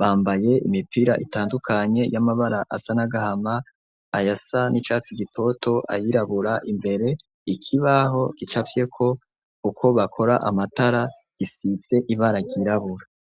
bambaye imipira itandukanye y'amabara asa n'agahama ayasa n'icatsi gitoto, ayirabura imbere, ikibaho gicafyeko uko bakora amatara gisize ibara ryirabura.